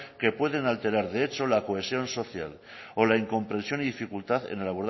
que pueden alterar de hecho la cohesión social o la incomprensión y dificultad en el